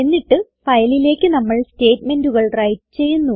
എന്നിട്ട് ഫയലിലേക്ക് നമുക്ക് സ്റ്റേറ്റ്മെന്റുകൾ വ്രൈറ്റ് ചെയ്യുന്നു